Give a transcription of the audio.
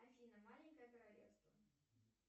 афина маленькое королевство